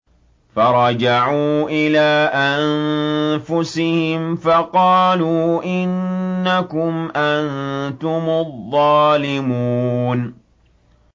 فَرَجَعُوا إِلَىٰ أَنفُسِهِمْ فَقَالُوا إِنَّكُمْ أَنتُمُ الظَّالِمُونَ